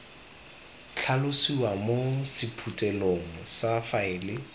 tlhalosiwa mo sephuthelong sa faele